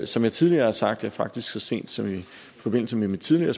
som jeg tidligere har sagt faktisk så sent som i forbindelse med mit tidligere